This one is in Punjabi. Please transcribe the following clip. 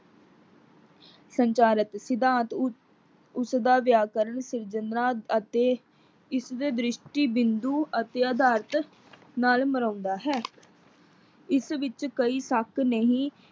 ਸੰਚਾਰਿਤ ਸਿਧਾਂਤ ਉਸ ਉਸਦਾ ਵਿਆਕਰਨ ਸਿਰਜਣਾ ਅਤੇ ਇਸ ਦੇ ਦਰਿਸ਼ਟੀ ਬਿੰਦੂ ਅਤੇ ਅਧਾਰਿਤ ਨਾਲ ਮਿਲਾਉਂਦਾ ਹੈ। ਇਸ ਵਿੱਚ ਕਈ ਸ਼ੱਕ ਨਹੀਂ।